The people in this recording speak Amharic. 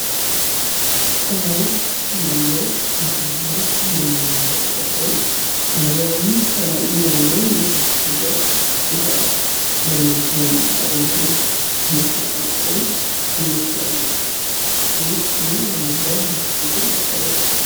ከላይ ያለው ምስል ላይ የምንመለከተው ሰማያዊ ቀለም ያለው የታሸገ እቃ ለምን ለምን አገልግሎት ልንጠቀመው እንችላለን ?ስሙስ ምን በመባል በተለምዶ ይታወቃል ?